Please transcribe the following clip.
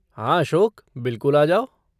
हाँ अशोक, बिल्कुल आ जाओ।